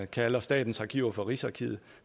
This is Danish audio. kalder statens arkiver for rigsarkivet